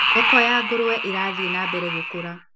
Thoko ya ngũrũwe ĩrathi nambere gũkũra.